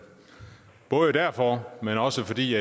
både derfor men også fordi